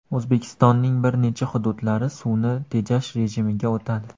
O‘zbekistonning bir necha hududlari suvni tejash rejimiga o‘tadi.